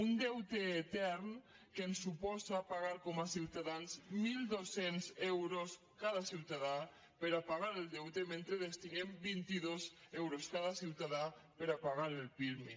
un deute etern que ens suposa pagar com a ciutadans mil dos cents euros cada ciutadà per a pagar el deute mentre destinem vint dos euros a cada ciutadà per a pagar el pirmi